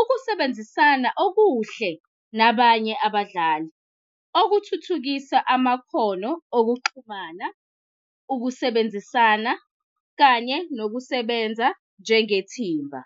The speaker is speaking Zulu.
ukusebenzisana okuhle nabanye abadlali okuthuthukisa amakhono okuxhumana, ukusebenzisana, kanye nokusebenza njengethimba.